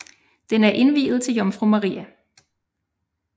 Den er indviet til Jomfru Maria